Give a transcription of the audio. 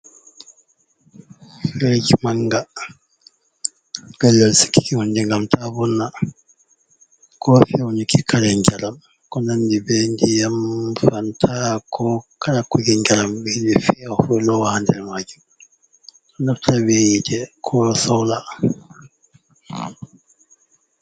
Firij manga pellel sikiki hunde ngam ta vonna ko feunuki kala njaram ko nandi be ndiyam, fanta, ko kala kuje njaram ɓe yiɗi fewa lowa ha nder majum, naftira be hiite ko soola.